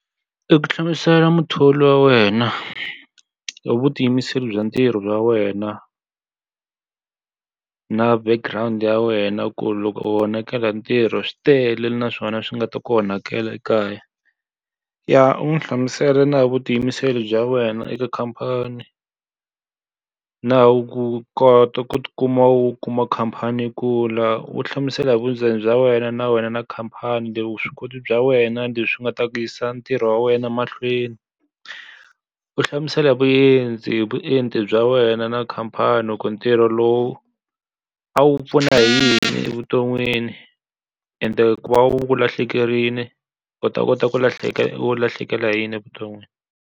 I ku hlamusela muthori wa wena hi vutiyimiseri bya ntirho wa wena na background ya wena ku loko u onhakela ntirho swi tele na swona swi nga ta ku onhakela ekaya. Ya u n'wi hlamusela na vutiyimiseri bya wena eka khamphani, na hi ku kota ku ti kuma u kuma khamphani yi kula, u hlamusela hi vundzeni bya wena na wena na khamphani. Leswi vuswikoti bya wena leswi nga ta ku yisa ntirho wa wena mahlweni. U hlamusela vuendzi hi vuenti bya wena na khamphani ku ntirho lowu a wu ku pfuna hi yini evuton'wini. ende ku va u ku lahlekerile u ta kota ku lahlekela ku lahlekela hi yini evuton'wini.